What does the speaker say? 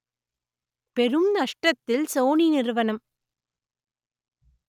பெரும் நஷ்டத்தில் சோனி நிறுவனம்